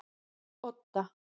Odda